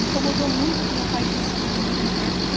Me incomodou muito o que meu pai disse para mim em uma época.